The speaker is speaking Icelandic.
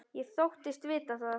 Ég þóttist vita það.